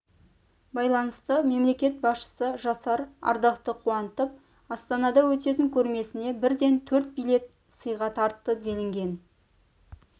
байланысты мемлекет басшысы жасар ардақты қуантып астанада өтетін көрмесіне бірден төрт билет сыйға тартты делінген